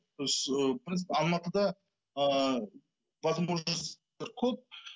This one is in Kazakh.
біз ы біз алматыда ыыы возможностьтар көп